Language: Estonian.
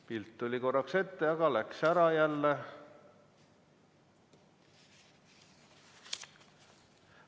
Pilt tuli korraks ette, aga läks jälle ära.